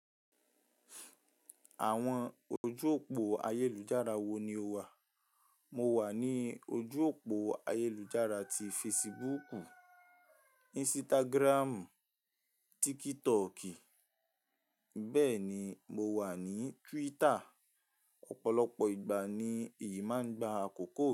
Àwọn ojú òpó ayélujára wo ni o wà? Mo wà ní ojú òpó ayélujára tí Facebooku, Instagramu, TikToki, bẹ́ẹ̀ ni mo wà ní Twitter. Ọ̀pọ̀lọpọ̀ ìgbà ni èyí máa ń gba àkòkò.